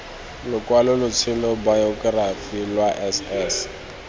lokwalotshelo bayokerafi lwa s s